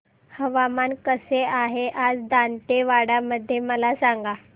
हवामान कसे आहे आज दांतेवाडा मध्ये मला सांगा